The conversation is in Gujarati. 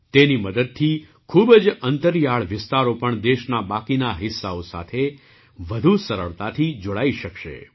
તેની મદદથી ખૂબ જ અંતરિયાળ વિસ્તારો પણ દેશના બાકી હિસ્સાઓ સાથે વધુ સરળતાથી જોડાઈ શકાશે